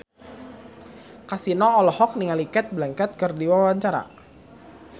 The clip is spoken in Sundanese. Kasino olohok ningali Cate Blanchett keur diwawancara